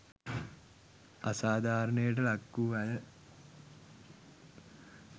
අසාධාරණයට ලක් වූ අය